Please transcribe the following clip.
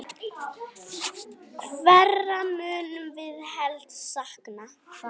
Hverra munum við helst sakna?